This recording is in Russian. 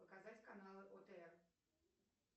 показать каналы отр